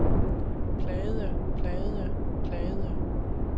plagede plagede plagede